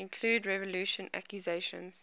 include revulsion accusations